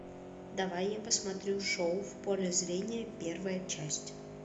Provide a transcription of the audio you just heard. давай я посмотрю шоу в поле зрения первая часть